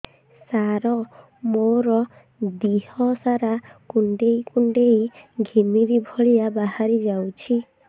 ସାର ମୋର ଦିହ ସାରା କୁଣ୍ଡେଇ କୁଣ୍ଡେଇ ଘିମିରି ଭଳିଆ ବାହାରି ଯାଉଛି